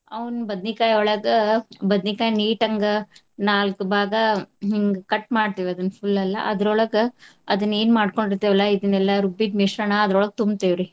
ಅವ್ನ್ ಬದ್ನಿಕಾಯಿಯೊಳಗ ಬದ್ನಿಕಾಯ್ neat ಅಂಗ ನಾಲ್ಕ್ ಭಾಗಾ ಹಿಂಗ್ cut ಮಾಡ್ತಿವ್ ಅದನ್ನ್ full ಎಲ್ಲಾ ಅದ್ರೋಳಗ ಅದನ್ನ್ ಏನ್ ಮಾಡ್ಕೊಂಡಿರ್ತೆವಲ್ಲ ಇದನೆಲ್ಲಾ ರುಬ್ಬಿದ ಮಿಶ್ರಣ ಅದ್ರೋಳಗ್ ತುಂಬತಿವ್ರಿ.